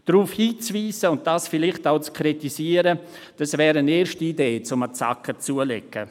Darauf hinzuweisen und dies vielleicht auch zu kritisieren, wäre eine erste Idee, um einen Zacken zuzulegen.